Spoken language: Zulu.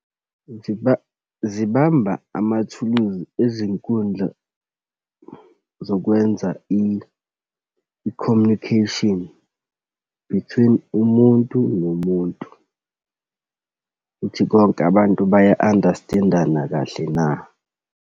Zibamba amathuluzi ezinkundla zokwenza i-communication between umuntu nomuntu, ukuthi konke abantu baya-understand-ana kahle na.